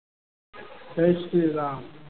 Jay Shri Ram.